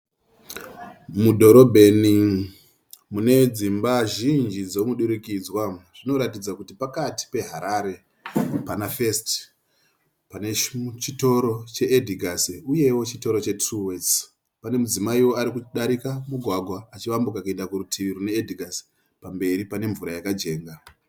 Mudhorobheni mune dzimba zhinji dzomudurikidzwa. Zvinoratidza kuti pakati peHarare pana"First" pane chitoro che"Edgars" uyewo chitoro che"Truworths". Panewo mudzimaiwo ari kudarika mugwagwa achiwambuka kuenda kurutivi rune"Edgars". Pamberi pane mvura yakajenga.